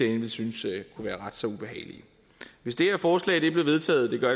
ville synes kunne være ret så ubehagelige hvis det her forslag blev vedtaget det gør